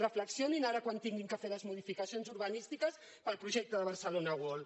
reflexionin ara quan hagin de fer les modificacions urbanístiques per al projecte de barcelona world